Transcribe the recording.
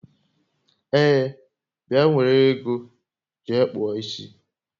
Ee, bịa nwere ego jee kpụọ isi